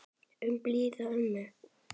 Um blíða ömmu.